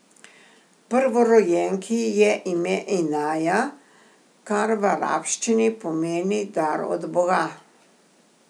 Prvorojenki je ime Inaja, kar v arabščini pomeni dar od boga.